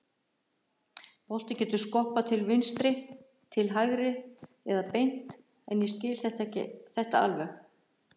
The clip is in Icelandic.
Boltinn getur skoppað til vinstri, til hægri eða beint en ég skil þetta alveg.